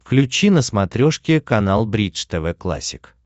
включи на смотрешке канал бридж тв классик